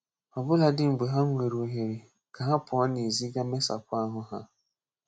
Ọ bùladị mgbe ha nwere ohere ka ha pụọ n’ezi gaa mesapụ ahù ha.